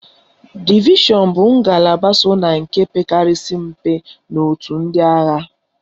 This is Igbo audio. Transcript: Divishọn bụ ngalaba so na nke pekarịsịrị mpe n'otu ndị agha.